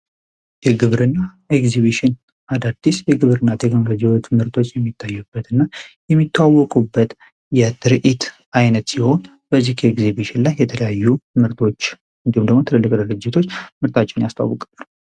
የግብር እና ኤግዚቢሽን አዳርዲስ የግብር እና ቴኮንለጂበት ምህርቶች የሚታዩበት እና የሚታወቁበት የትርኢት ዓይነት ሲሆን በዚህ እግዚቢሽን ላይ የተለያዩ ምርቶች እንዲሁምደሞ ትለልቅ ደለጅቶች ምርታችን ያስታወቅብር፡፡